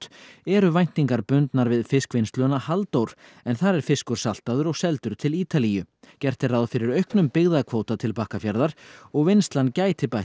eru væntingar bundnar við fiskvinnsluna Halldór en þar er fiskur saltaður og seldur til Ítalíu gert er ráð fyrir auknum byggðakvóta til Bakkafjarðar og vinnslan gæti bætt